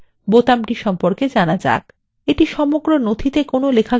এটি সমগ্র নথিতে লেখাটি অনুসন্ধান করে এবং/অথবা লেখাটি প্রতিস্থাপন করে